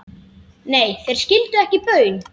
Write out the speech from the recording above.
Nei, þeir skildu ekki baun.